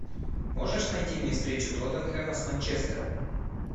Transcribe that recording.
можешь найти мне встречу тоттенхэма с манчестером